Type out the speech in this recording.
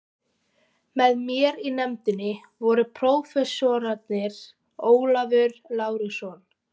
Með mér í nefndinni voru prófessorarnir Ólafur Lárusson